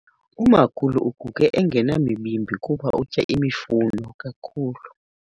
Umakhulu uguge engenamibimbi kuba utya imifuno kakhulu.